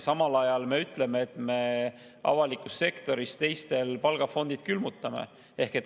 Samal ajal me ütleme, et me avalikus sektoris teised palgafondid külmutame.